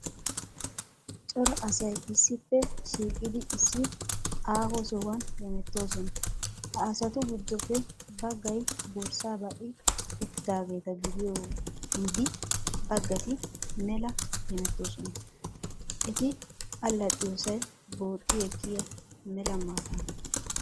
Cora asay issippe shiiqidi issi aaho sohuwan hemettoosona. Ha asatu giddoppe baggay borsssa ba''i uttidaageeta gidiyo wide baggati mela hemettoosona. Eti allaxxiyosay booxxi ekkiya mela maataana.